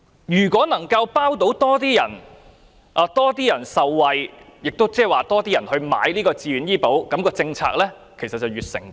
如果能夠讓更多市民受惠，更多人便會購買自願醫保，政策便會越成功。